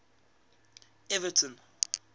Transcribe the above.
everton